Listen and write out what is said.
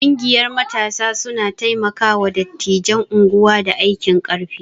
Ƙungiyar matasa suna taimaka wa dattijan unguwa da aikin ƙarfi